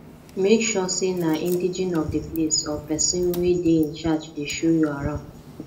make sure say na indegene of di place or persin wey de in charge de show you arround